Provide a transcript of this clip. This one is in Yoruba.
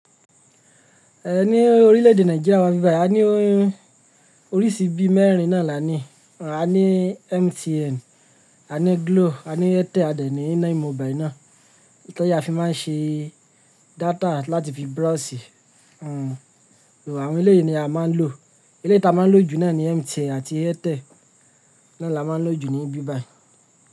Ẹ̀ ní orílẹ̀ èdè Nàìjíríà wà ni bi bayii ní oríṣi bí mẹ́rin náà là ní. À ní MTN, à ní Glo, à ní Airtel ade ní 9mobile ná. Tí a fi máa ń ṣe data láti fi browse. Àwọn elé yìí ni a máa ń lò. Eléyi ti a máa ń lò jù náà ni MTN àti Airtel. Náà là máa ń lò jù ní bíbàì.